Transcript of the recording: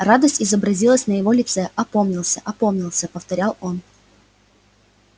радость изобразилась на его лице опомнился опомнился повторял он